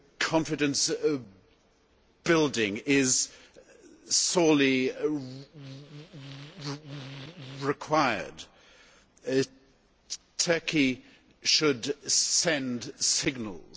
Confidence building is sorely required. Turkey should send signals.